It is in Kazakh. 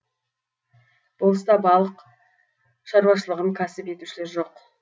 болыста балық шаруашылығын кәсіп етушілер жоқ